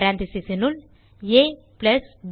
parenthesesனுள் ab